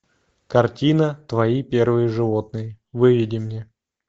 картина твои первые животные выведи мне